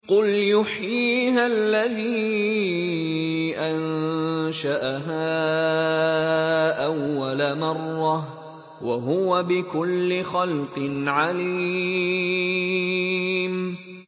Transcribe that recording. قُلْ يُحْيِيهَا الَّذِي أَنشَأَهَا أَوَّلَ مَرَّةٍ ۖ وَهُوَ بِكُلِّ خَلْقٍ عَلِيمٌ